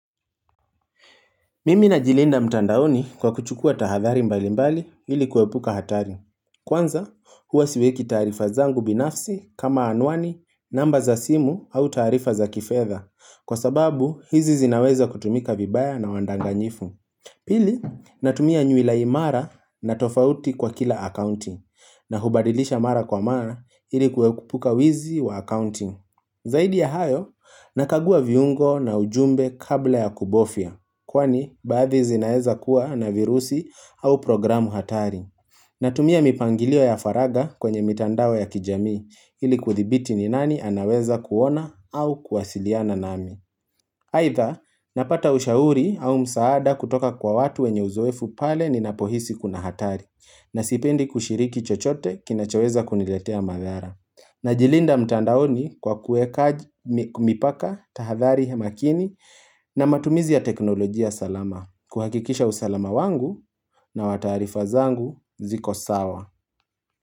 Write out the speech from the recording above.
Mimi na jilinda mtandaoni kwa kuchukua tahathari mbali mbali ili kuepuka hatari. Kwanza, huwa siweki tarifa zangu binafsi kama anwani, namba za simu au tarifa za kifedha. Kwa sababu, hizi zinaweza kutumika vibaya na wandanganyifu. Pili, natumia nywila imara na tofauti kwa kila accounting. Na hubadilisha mara kwa mara ilikuwepuka wizi wa accounting. Zaidi ya hayo, nakagua viungo na ujumbe kabla ya kubofya. Kwani baathi zinaeza kuwa na virusi au programu hatari Natumia mipangilio ya faragha kwenye mitandao ya kijamii ili kuthibiti ni nani anaweza kuona au kuwasiliana nami Aitha napata ushauri au msaada kutoka kwa watu wenye uzoefu pale ninapohisi kuna hatari Nasipendi kushiriki chochote kinachoweza kuniletea madhara Najilinda mtandaoni kwa kueka mipaka tahadhari makini na matumizi ya teknolojia salama. Kuhakikisha usalama wangu na watarifa zangu ziko sawa.